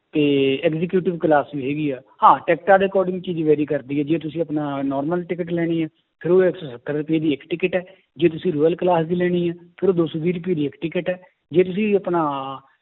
ਤੇ executive class ਵੀ ਹੈਗੀ ਹੈ, ਹਾਂ ਟਿੱਕਟਾਂ ਦੇ according 'ਚ ਹੀ vary ਕਰਦੀ ਹੈ ਜੇ ਤੁਸੀਂ ਆਪਣਾ normal ਟਿਕਟ ਲੈਣੀ ਹੈ ਫਿਰ ਉਹਦੀ ਇੱਕ ਸੱਤਰ ਰੁਪਏ ਦੀ ਇੱਕ ਟਿਕਟ ਹੈ ਜੇ ਤੁਸੀਂ royal class ਦੀ ਲੈਣੀ ਹੈ, ਫਿਰ ਉਹ ਦੋ ਸੌ ਵੀਹ ਰੁਪਏ ਦੀ ਇੱਕ ਟਿਕਟ ਹੈ ਜੇ ਤੁਸੀਂ ਆਪਣਾ